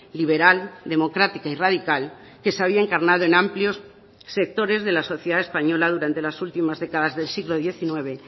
liberal democrática y radical que se había encarnado en amplios sectores de la sociedad española durante las últimas décadas del siglo diecinueve